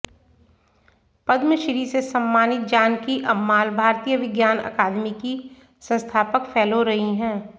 पद्म श्री से सम्मानित जानकी अम्माल भारतीय विज्ञान अकादमी की संस्थापक फेलो रहीं हैं